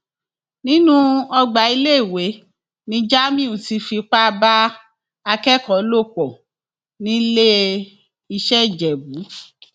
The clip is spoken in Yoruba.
nínú ọgbà iléèwé ni jamiu ti fipá bá akẹkọọ lò pọ niléeṣẹ ìjẹbù